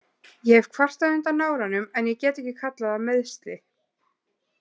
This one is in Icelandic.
Ég hef kvartað undan náranum en ég get ekki kallað það meiðsli.